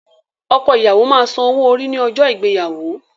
Ọkọ ìyàwó máa san owó orí ní ọjọ́ ìgbéyàwó.